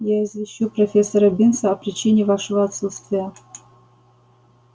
я извещу профессора бинса о причине вашего отсутствия